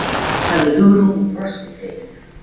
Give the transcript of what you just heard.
sagði Hugrún og brosti þreytulega.